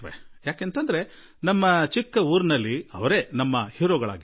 ಯಾಕೆಂದರೆ ನನ್ನ ಸಣ್ಣ ಹಳ್ಳಿಯಲ್ಲಿ ಅವರೇ ನಮಗೆ ಹೀರೋನಂತೆ ಕಾಣಿಸುತ್ತಿದ್ದರು